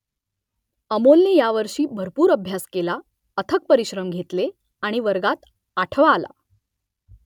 अमोलने यावर्षी भरपूर अभ्यास केला , अथक परिश्रम घेतले आणि वर्गात आठवा आला